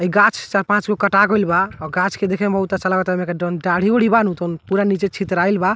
हई गाछ चार-पाँचगो कटा गइल बा और गाछ के देखे में बहुत अच्छा लागता एमके जोवन डाड़ी-ओढ़ी बा न तवन पुरा नीचे छितराइल बा।